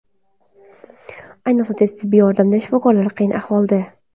Ayniqsa tez tibbiy yordam shifokorlari qiyin ahvolda.